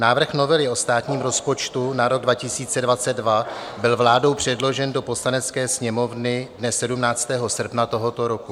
Návrh novely o státním rozpočtu na rok 2022 byl vládou předložen do Poslanecké sněmovny dne 17. srpna tohoto roku.